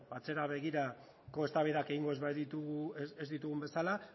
atzera begirako eztabaidak egingo ez ditugun bezala